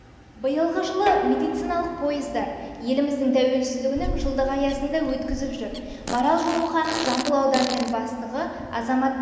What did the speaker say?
биылғы жылы медициналық пойыздар еліміздің тәуелсіздігінің жылдығы аясында өткізіп жұр марал жолмұханов жамбыл ауданының бастығы азаматтық